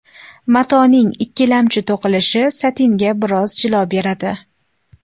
Matoning ikkilamchi to‘qilishi satinga biroz jilo beradi.